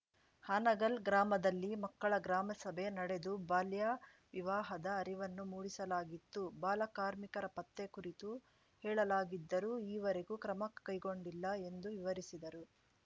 ಹಾನಗಲ್‌ ಗ್ರಾಮದಲ್ಲಿ ಮಕ್ಕಳ ಗ್ರಾಮಸಭೆ ನಡೆದು ಬಾಲ್ಯ ವಿವಾಹದ ಅರಿವನ್ನು ಮೂಡಿಸಲಾಗಿತ್ತು ಬಾಲ ಕಾರ್ಮಿಕರ ಪತ್ತೆ ಕುರಿತು ಹೇಳಲಾಗಿದ್ದರೂ ಈವರೆಗೂ ಕ್ರಮ ಕೈಗೊಂಡಿಲ್ಲ ಎಂದು ವಿವರಿಸಿದರು